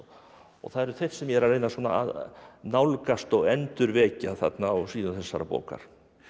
það eru þeir sem ég er að reyna að nálgast og endurvekja þarna á síðum þessarar bókar